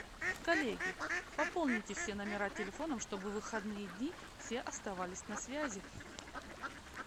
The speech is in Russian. коллеги пополните все номера телефонов чтобы в выходные дни все оставались на связи